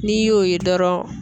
N'i y'o ye dɔrɔn.